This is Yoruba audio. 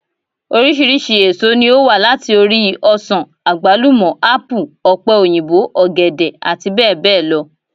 Oríṣiríṣi èso ní ó wà láti ori: ọsàn, àgbálúmọ, ápù, ọ̀pẹ òyìnbó, ọ̀gẹ̀dẹ̀ àti bẹ́ẹ̀ bẹ́ẹ̀ lọ